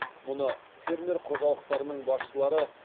мұны фермер қожалықтарының басшылары